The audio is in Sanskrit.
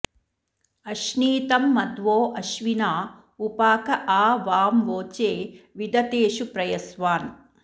अश्नीतं मध्वो अश्विना उपाक आ वां वोचे विदथेषु प्रयस्वान्